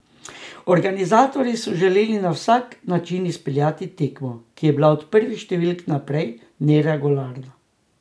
Organizatorji so želeli na vsak način izpeljati tekmo, ki je bila od prvih številk naprej neregularna.